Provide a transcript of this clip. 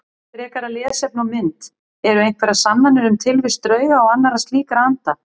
Frekara lesefni og mynd Eru einhverjar sannanir um tilvist drauga og annarra slíkra anda?